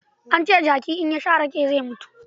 An ce jaki in ya sha rake zai mutu.